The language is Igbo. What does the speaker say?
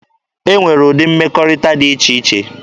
E nwere ụdị mmekọrịta dị iche iche.